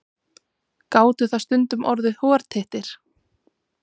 Gátu það stundum orðið hortittir.